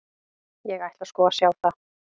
Ég ætla sko að sjá það.